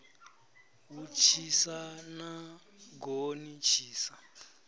hu tshisa na goni tshisa